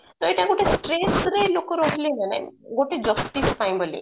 ତ ଏଇଟା ଗୋଟେ stress ରେ ଲୋକ ରହୁଥିଲେ ନା ନାଇଁ ଗୋଟେ justice ପାଇଁ ବୋଲି